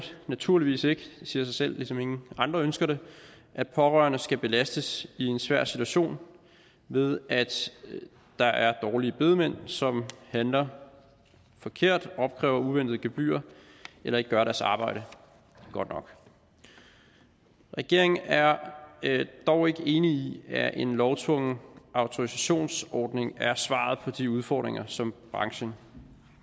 naturligvis ikke det siger sig selv ligesom ingen andre ønsker det at pårørende skal belastes i en svær situation ved at der er dårlige bedemænd som handler forkert opkræver uventede gebyrer eller ikke gør deres arbejde godt nok regeringen er dog ikke enig i at en lovtvungen autorisationsordning er svaret på de udfordringer som branchen